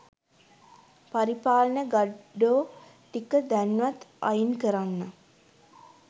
පරිපාලන ගඩ්ඩෝ ටික දැන්වත් අයින් කරන්න